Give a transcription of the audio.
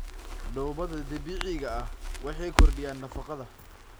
doobada dabiiciga ah waxay kordhiyaan nafaqada.